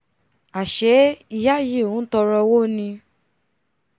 àṣé ìyá yìí ntọọrọ owó ni